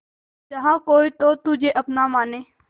जहा कोई तो तुझे अपना माने